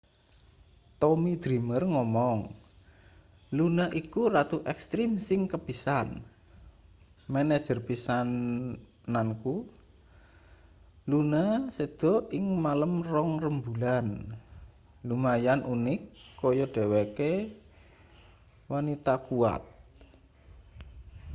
tommy dreamer ngomong luna iku ratu ekstrim sing kepisan manajer pisananku luna seda ing malem rong rembulan lumayan unik kaya dheweke wanita kuwat